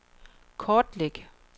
kortlæg